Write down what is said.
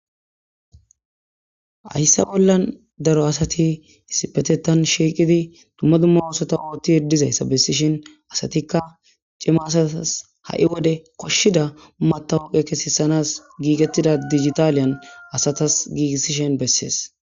Hayssa bollan daro asati isipetetan shieqidi tumma dumma oosota oothti yeddizayssa bessishin asatikka cimasatas ha7i wode koshshida matawuqe kesesanas giigettida digitaaliyan asatas giigisishen bessees.